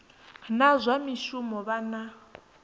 na zwa mishumo vha na